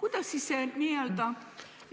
Kuidas see n-ö